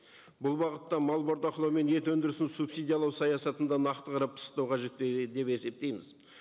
бұл бағытта мал бордақылау мен ет өндірісін субсидиялау саясатында нақты қарап пысықтау қажет пе деп есептейміз